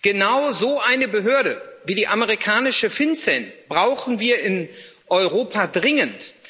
Genau so eine Behörde wie die amerikanische FinCEN brauchen wir in Europa dringend.